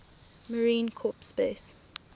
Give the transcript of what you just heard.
marine corps base